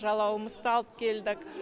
жалауымызды да алып келдік